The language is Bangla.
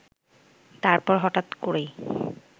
তারপর হঠাৎ করেই